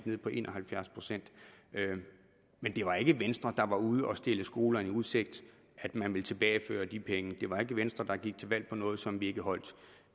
ned på en og halvfjerds procent men det var ikke venstre der var ude at stille skolerne i udsigt at man ville tilbageføre de penge det var ikke venstre der gik til valg på noget som vi ikke holdt